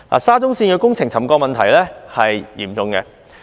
沙中線工程的沉降問題嚴重。